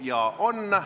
Jaa, on.